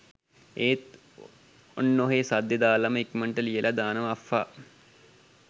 ඒත් ඔන්නොහෙ සද්දේ දාලම ඉක්මනට ලියලා දානවා අෆ්ෆා